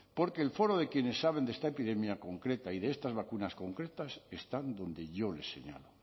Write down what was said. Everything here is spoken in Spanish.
porque el foro de quienes saben de esta epidemia concreta y de estas vacunas concretas están donde yo les señalo